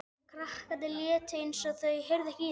Krakkarnir létu eins og þau heyrðu ekki í þeim.